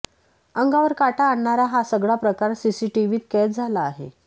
अंगावर काटा आणणारा हा सगळा प्रकार सीसीटीव्हीत कैद झाला आहे